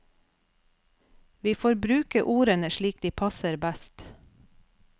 Vi får bruke ordene slik de passer best.